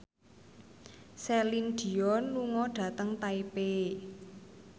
Celine Dion lunga dhateng Taipei